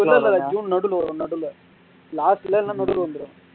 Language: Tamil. இல்ல இல்ல ஜுன் நடுவுல வருவேன் நடுவுல last ல இல்லனா நடுவுல வந்துருவேன்